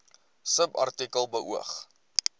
subartikel beoog